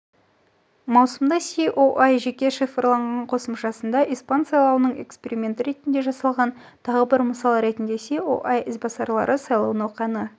маусымда ееа жеке шифрланған қосымшасында испан сайлауының эксперименті ретінде жасалған тағы бір мысал ретінде оііо ізбасарлары сайлау науқаны